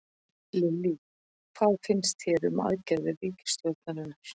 Lillý: Hvað finnst þér um aðgerðir ríkisstjórnarinnar?